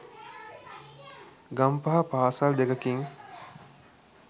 ගම්පහ පාසල් දෙකකින්